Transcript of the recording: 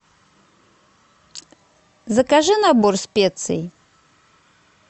закажи набор специй